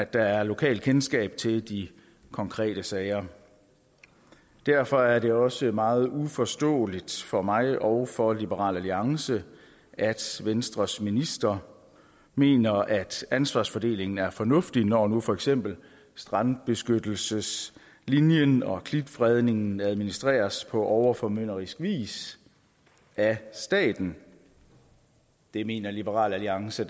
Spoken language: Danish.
der er lokalkendskab til de konkrete sager derfor er det også meget uforståeligt for mig og for liberal alliance at venstres minister mener at ansvarsfordelingen er fornuftig når nu for eksempel strandbeskyttelseslinjen og klitfredningen administreres på overformynderisk vis af staten det mener liberal alliance